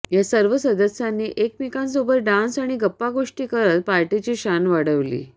या सर्व सदस्यांनी एकमेकांसोबत डान्स आणि गप्पागोष्टी करत पार्टीची शान वाढवली